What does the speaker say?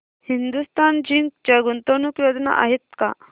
Hindustan Zinc च्या गुंतवणूक योजना आहेत का